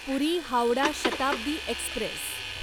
पुरी Howrah Shatabdi Express